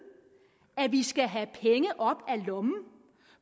at vi skal have penge op af lommen